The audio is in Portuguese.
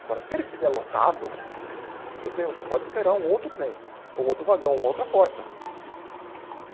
Agora, se ele estiver lotado, tudo bem, você pode esperar um outro trem, ou um outro vagão, uma outra porta.